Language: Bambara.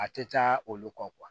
A tɛ taa olu kɔ